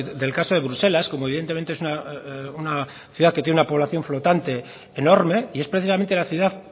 del caso de bruselas como evidentemente es una ciudad que tiene una población flotante enorme y es precisamente la ciudad